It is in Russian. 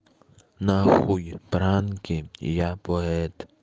нахуй пранки я поэт